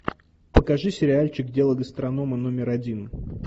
покажи сериальчик дело гастронома номер один